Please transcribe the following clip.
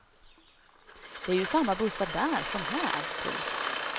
Det är ju samma bussar där som här. punkt